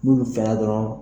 N'u fɛnna dɔrɔn